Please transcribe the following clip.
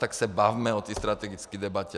Tak se bavme o té strategické debatě!